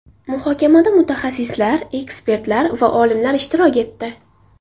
Muhokamada mutaxassislar, ekspertlar va olimlar ishtirok etdi.